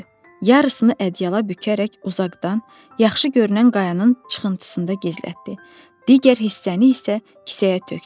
Yarısını ədyala bükərək uzaqdan yaxşı görünən qayanın çıxıntısında gizlətdi, digər hissəni isə kisəyə tökdü.